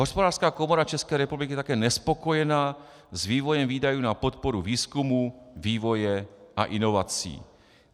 Hospodářská komora České republiky je také nespokojena s vývojem výdajů na podporu výzkumu, vývoje a inovací.